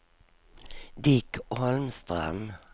Dick Holmström